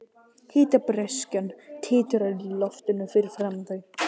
Hitabreyskjan titrar í loftinu fyrir framan þau.